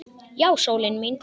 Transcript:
Já, sólin mín.